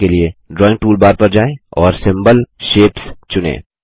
ऐसा करने के लिए ड्राइंग टूलबार पर जाएँ और सिम्बोल शेप्स चुनें